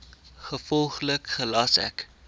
gevolglik gelas ek